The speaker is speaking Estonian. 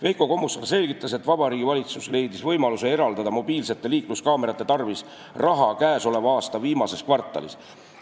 Veiko Kommusaar selgitas, et Vabariigi Valitsus leidis võimaluse eraldada mobiilsete liikluskaamerate tarvis raha käesoleva aasta viimases kvartalis.